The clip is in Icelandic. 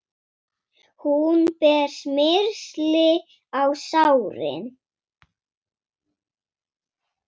Hún ber smyrsli á sárin.